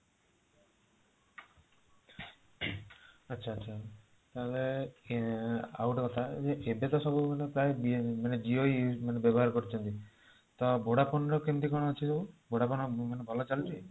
ଆଚ୍ଛା ଆଚ୍ଛା ଆଉ ଗୋଟେ କଥା Jio ବ୍ୟବହାର କରୁଛନ୍ତି ତ vodafone ର କେମିତି କଣ ଅଛି କହିଲେ, vodafone ଭଲ ଚାଳୁଛି ?